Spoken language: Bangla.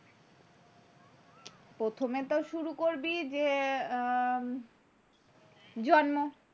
প্রথমে তো শুরু করবি যে উম জন্ম,